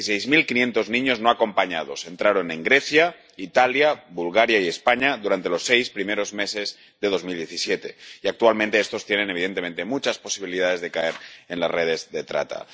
Dieciséis mil quinientos niños no acompañados entraron en Grecia, Italia, Bulgaria y España durante los seis primeros meses de 2017 y actualmente estos tienen, evidentemente, muchas posibilidades de caer en las redes de trata.